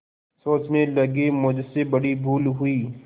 सोचने लगेमुझसे बड़ी भूल हुई